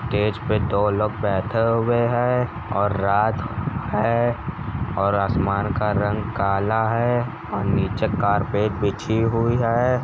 Stage पे दो लोग बैठे हुए हैं और रात है और आसमान का रंग काला है और नीचे कार्पट बिछी हुई है।